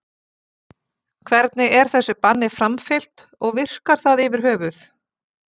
Hvernig er þessu banni framfylgt og virkar það yfir höfuð?